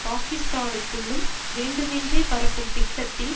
பாகிஸ்தானுக்குள்ளும் வேண்டுமென்றே பரப்பும் திட்டத்தில்